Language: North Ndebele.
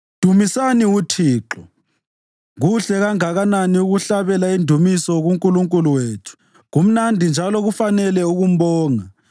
Dumisani uThixo. Kuhle kangakanani ukuhlabela indumiso kuNkulunkulu wethu, kumnandi njalo kufanele ukumbonga!